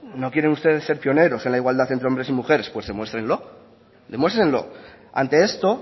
no quieren ustedes ser pioneros entre la igualdad entre hombres y mujeres pues demuéstrenlo demuéstrenlo ante esto